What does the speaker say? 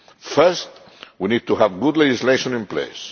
First, we need to have good legislation in place.